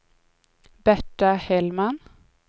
Berta Hellman